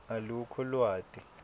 alukho lwati